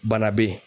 Bana be yen